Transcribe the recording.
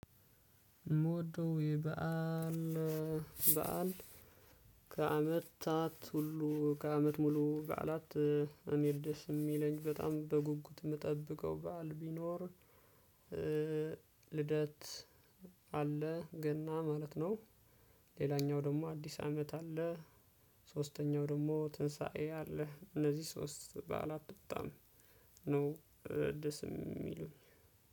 ሞዶ የበአል በዓል ከአመታት ሁሉ ከአመት ሙሉ በዓላት እኔ ደስ እሚለኝ በጣም በጉጉት እምጠብቀው በዓል ቢኖር ልደት አለ ገና ማለት ነው። ሌላኛው ደግሞ አዲስ አመት አለ። ሶስተኛው ደግሞ ትንሳኤ አለ እነዚህ ሶስት በዓላት ብጣም ነው። ደስ እሚሉኝ